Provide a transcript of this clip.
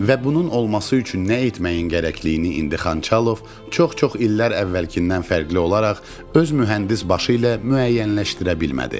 Və bunun olması üçün nə etməyin gərəkliliyini indi Xançalov çox-çox illər əvvəlkindən fərqli olaraq öz mühəndis başı ilə müəyyənləşdirə bilmədi.